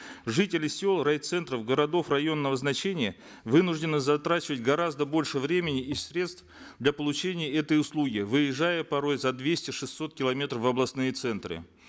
жители сел райцентров городов районного значения вынуждены затрачивать гораздо больше времени и средств для получения этой услуги выезжая порой за двести шестьсот километров в областные центры